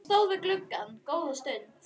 Ég stóð við gluggann góða stund.